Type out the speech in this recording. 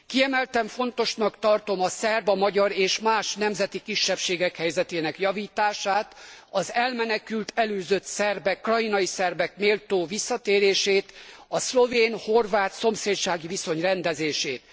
Kiemelten fontosnak tartom a szerb, a magyar és más nemzeti kisebbségek helyzetének javítását, az elmenekült, elűzött szerbek, krajinai szerbek méltó visszatérését, a szlovén horvát szomszédsági viszony rendezését.